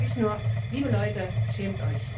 Da sage ich nur Liebe Leute, schämt euch!